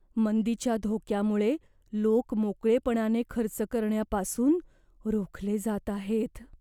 मंदीच्या धोक्यामुळे लोक मोकळेपणाने खर्च करण्यापासून रोखले जात आहेत.